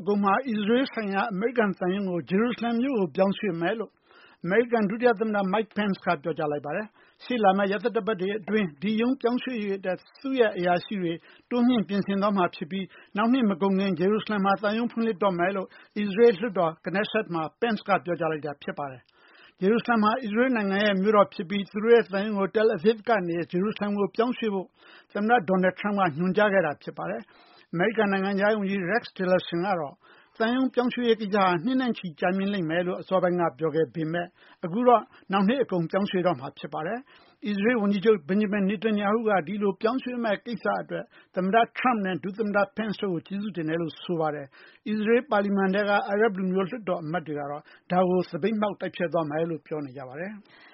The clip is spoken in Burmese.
အကုန်မှာ အစ္စရေးဆိုင်ရာ အမေရိကန်သံရုံးကို ဂျေရုစလင်မြို့ကို ပြောင်းရွှေ့မယ်လို့ အမေရိကန် ဒုတိယ သမ္မတ Mike Pence ကပြောကြားလိုက်ပါတယ်။ ရှေ့လာမယ့် ရက်သတ္တပတ်တွေအတွင်း ဒီသံရုံးပြောင်းရွှေ့ရေးအတွက် သူတို့ရဲ့အရာရှိတွေ တိုးမြှင့် ပြင်ဆင်သွားမှာဖြစ်ပြီး နောက်နှစ်မကုန်ခင် ဂျေရုစလင်မှာ ဖွင့်လှစ်တော့မယ်လို့ အစ္စရေး လွှတ်တော် Knesset မှာ Pence ကပြောကြားလိုက်တာပါ။ ဂျေရုစလင်ဟာ အစ္စရေးနိုင်ငံရဲ့ မြို့တော်ဖြစ်ပြီး သူတို့သံရုံးကို Tel Aviv ကနေ ဂျေရုစလင်ကိုပြောင်းရွှေ့ဖို့ သမ္မတ Trump က ညွှန်ကြားထားတာဖြစ်ပါတယ်။ အမေရိကန် နိုင်ငံခြားရေးဝန်ကြီး Rex Tillerson ကတော့ သံရုံးပြောင်းရွှေ့ရေးကိစ္စဟာ နှစ်နဲ့ချီကြာမြှင့်မယ်လို့ ပြောကြားခဲ့ပေမယ့် အခုတော့ နှောင်နှစ်အကုန်မှာ ပြောင်းရွှေ့တော့မှာဖြစ်ပါတယ်။ အစ္စရေးဝန်ကြီးချုပ် Netanyahu က ဒီလိုပြောင်းရွှေ့မယ့် ကိစ္စအတွက် သမ္မတ Trump နဲ့ ဒု သမ္မတ Pence တို့ကို ကျေးဇူးတင်စကားပြောကြားလိုက်ပါတယ်။ အစ္စရေးပါလီမန်ထဲက အာရပ်လူမျိုး လွှတ်တော်အမတ်တွေကတော့ ဒါကို သပိတ်မှောက်သွားမယ်လို့ ပြောနေကြပါတယ်။